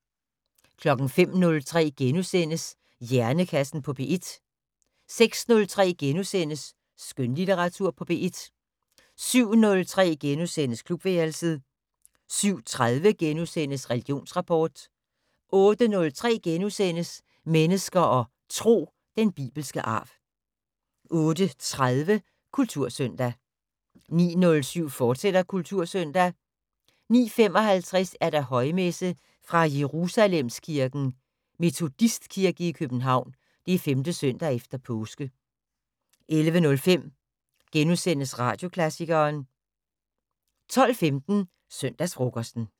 05:03: Hjernekassen på P1 * 06:03: Skønlitteratur på P1 * 07:03: Klubværelset * 07:30: Religionsrapport * 08:03: Mennesker og Tro: Den bibelske arv * 08:30: Kultursøndag 09:07: Kultursøndag, fortsat 09:55: Højmesse - fra Jerusalemkirken, Metodistkirke i København. 5. søndag efter påske. 11:05: Radioklassikeren * 12:15: Søndagsfrokosten